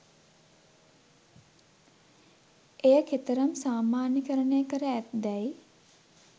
එය කෙතරම් සාමාන්‍යකරණය කර ඇත්දැයි